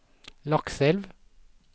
Lakselv